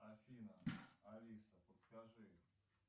афина алиса подскажи